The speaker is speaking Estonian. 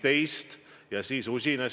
Aga küsimus?